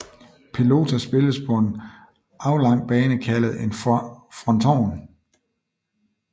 Pelota spilles på en aflang bane kaldet en fronton